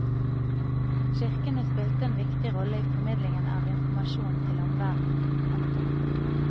Kirkene spilte en viktig rolle i formidlingen av informasjon til omverden. punktum